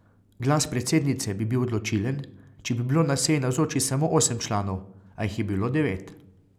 Glas predsednice bi bil odločilen, če bi bilo na seji navzočih samo osem članov, a jih je bilo devet.